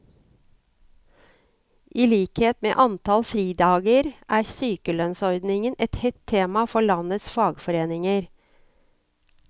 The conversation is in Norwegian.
I likhet med antall fridager er sykelønnsordningen et hett tema for landets fagforeninger.